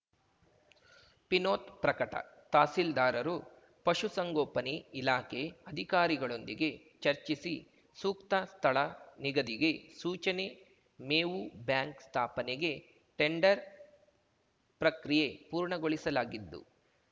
ಪಿನೋತ್‌ ಪ್ರಕಟ ತಹಸೀಲ್ದಾರರು ಪಶುಸಂಗೋಪನೆ ಇಲಾಖೆ ಅಧಿಕಾರಿಗಳೊಂದಿಗೆ ಚರ್ಚಿಸಿ ಸೂಕ್ತ ಸ್ಥಳ ನಿಗದಿಗೆ ಸೂಚನೆ ಮೇವು ಬ್ಯಾಂಕ್‌ ಸ್ಥಾಪನೆಗೆ ಟೆಂಡರ್‌ ಪ್ರಕ್ರಿಯೆ ಪೂರ್ಣಗೊಳಿಸಲಾಗಿದ್ದು